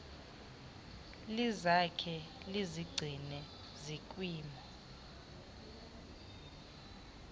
lizakhe lizigcine zikwimo